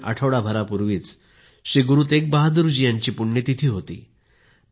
साधारण आठवडाभरापूर्वी श्रीगुरू तेग बहादुर जी यांची पुण्यतिथी होती